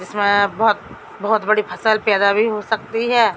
इसमें बहुत बहुत बड़ी फसल पैदा भी हो सकती है।